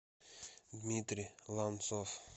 дмитрий ланцов